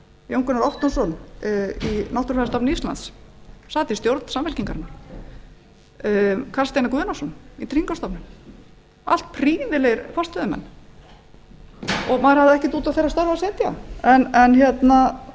jón gunnar ottósson í náttúrufræðistofnun íslands sat í stjórn samfylkingarinnar og karl steinar guðnason í tryggingastofnun þeir eru allir prýðilegir forstöðumenn ég hafði ekkert út á þeirra störf að setja